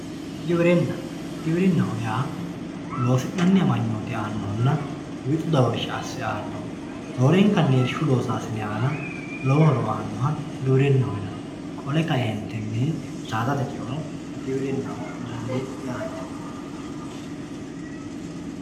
Giwirina giwirinahoyaa babaxitino ogimaqq wixu doorsha ase aanohoroorenkani irshu losasinera lowo horo aanoha giwirinaho yinani qoleno saadate cheono giwirinaho yinani yaate